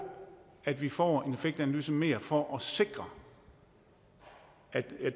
at vi får en effektanalyse mere for at sikre